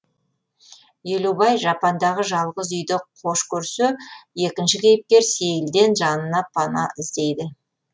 елубай жапандағы жалғыз үйді хош көрсе екінші кейіпкер сейілден жанына пана іздейді